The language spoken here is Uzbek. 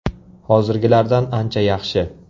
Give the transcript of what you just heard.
Hozirgilardan ancha yaxshi!